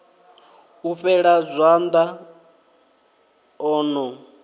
u fheṱa zwanḓa o no